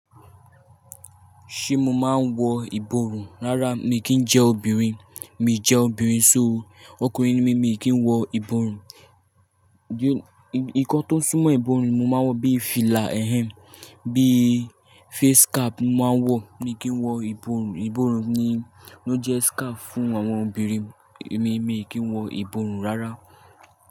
Ṣé mo máa ń wọ ìborùn? Rárá mi kì í jẹ́ obìnrin, mi jẹ́ obìnrin sóò. Ọkùnrin ni mí, mi kì í wọ ìborùn. Ìkọ́ tó súnmọ́ ìborùn ni mo máa ń wọ bí i fìlà ẹhẹn, bí i face cap ni mo máa ń wọ, mi kì í wọ ìborùn. Ìborùn ni ló jẹ́ scarf fún àwọn obìnrin, èmi mi kì í wọ ìborùn rárá.